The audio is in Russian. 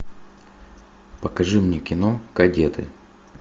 покажи мне кино кадеты